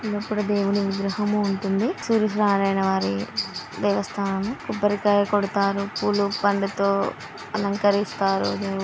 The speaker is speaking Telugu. ఇక్కడ దేవుని విగ్రహము ఉంటుంది సూర్యనారాయనవారి దేవస్థానము కొబ్బరికాయ కొడతారు పూలు పళ్లతో అలంకరిస్తారు దేవుని --